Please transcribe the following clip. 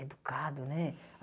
Educado, né?